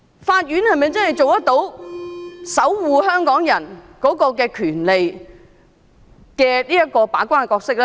法院能否做到守護港人權利的把關角色？